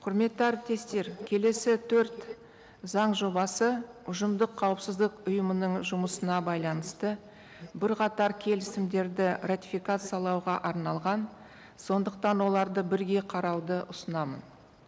құрметті әріптестер келесі төрт заң жобасы ұжымдық қауіпсіздік ұйымының жұмысына байланысты бірқатар келісімдерді ратификациялауға арналған сондықтан оларды бірге қарауды ұсынамын